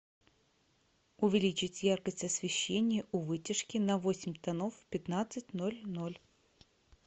увеличить яркость освещения у вытяжки на восемь тонов в пятнадцать ноль ноль